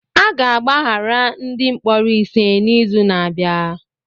A ga-agbaghara ndị mkpọrọ ise n'izu na-abịa